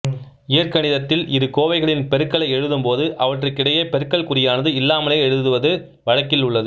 இயற்கணிதத்தில் இரு கோவைகளின் பெருக்கலை எழுதும்போது அவற்றுக்கிடையே பெருக்கல் குறியானது இல்லாமலே எழுதுவது வழக்கில் உள்ளது